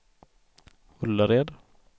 Ullared